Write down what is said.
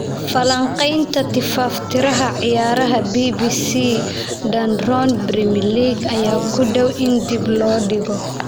Falanqaynta Tifaftiraha Ciyaaraha BBC Dan Roan Premier League ayaa ku dhow in dib loo dhigo.